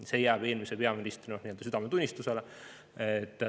See jääb eelmise peaministri südametunnistusele.